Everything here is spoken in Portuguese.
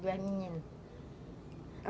São duas meninas.